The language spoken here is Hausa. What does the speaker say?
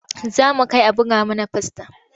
Za mu kai a buga mana fasta.